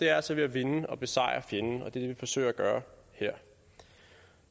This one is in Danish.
er altså ved at vinde og besejre fjenden og det er det vi forsøger at gøre her